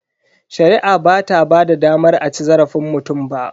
Shari'a bata ba da damar a ci zarafin mutum ba.